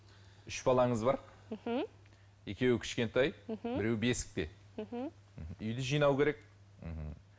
үш балаңыз бар мхм екеуі кішкентай мхм біреуі бесікте мхм үйді жинау керек мхм